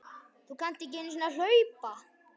Þú kannt ekki einu sinni að hlaupa